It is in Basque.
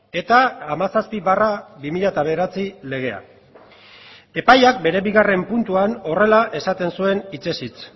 eta hamazazpi barra bi mila bederatzi legea epaiak bere bigarren puntuan horrela esaten zuen hitzez hitz